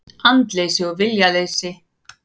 Andleysi og viljaleysi.